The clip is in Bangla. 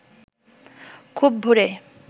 খুব ভোরে